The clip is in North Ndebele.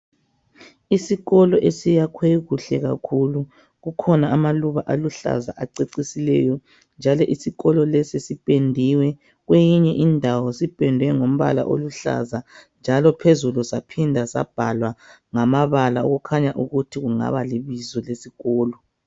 Isikolo esiyakhwe kuhle kakhulu kukhona amaluba aluhlaza acecisileyo. Njalo isikolo lesi sipendiwe, kweyinye indawo sipendwe ngombala oluhlaza njalo phezulu saphindwa sabhalwa ngamabala okukhanya ukuthi kungaba libizo lesikolo.